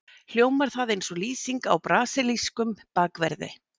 Hljómar það eins og lýsing á brasilískum bakverði?